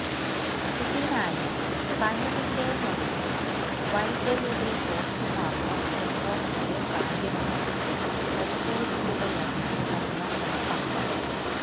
ഇതിനായി സനുവിന്റെ മൊഴിയും വൈഗയുടെ പോസ്റ്റുമോർട്ടം റിപ്പോർട്ടിലെ കാര്യങ്ങളും പരിശോധിക്കുകയാണ് അന്വേഷണ സംഘം